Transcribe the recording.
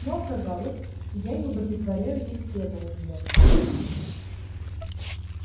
но оказалось я не удовлетворяю их требованиям